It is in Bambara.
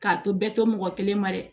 K'a to bɛɛ to mɔgɔ kelen ma dɛ